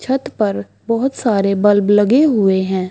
छत पर बहुत सारे बल्ब लगे हुए है।